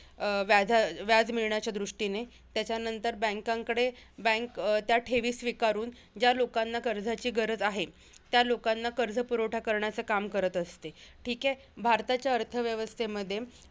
अं व्याजा व्याज मिळण्याच्या दृष्टीने त्याच्यानंतर banks कडे bank त्या ठेवी स्वीकारून ज्या लोकांना कर्जाची गरज आहे, त्या लोकांना कर्ज पुरवठा करण्याचं काम करत असते. ठीक आहे? भारताच्या अर्थव्यवस्थेमध्ये,